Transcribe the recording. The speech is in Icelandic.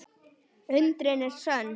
Undrin eru sönn.